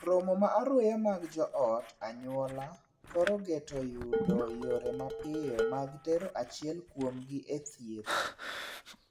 Romo ma aruya mar joot (anyuola) thor geto yudo yore mapiyo mag tero achiel kuomgi e thieth.